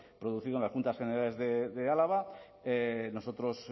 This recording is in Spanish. producido en las juntas generales de álava nosotros